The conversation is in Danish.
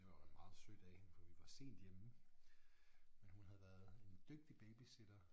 Det var meget sødt af hende for vi var sent hjemme men hun havde været en dygtig babysitter